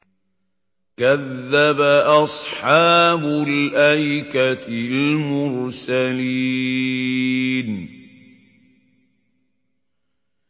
كَذَّبَ أَصْحَابُ الْأَيْكَةِ الْمُرْسَلِينَ